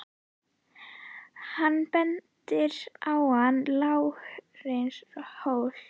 Hann bendir á annan lágreistan hól.